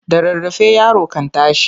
Da rarrafe yaro kan tashi.